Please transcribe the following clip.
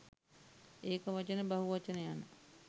ඒක වචන බහු වචන යන